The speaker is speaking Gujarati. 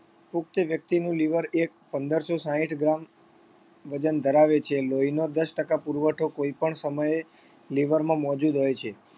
પુખ્ત વ્યક્તિનું liver એક પંદરસો સાઈઠ gram વજન ધરાવે છે લોહીનો દસ ટકા પુરવઠો કોઈપણ સમયે liver માં મોજુદ હોય છે